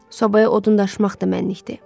Sobaya odun daşımaq da mənnilikdir.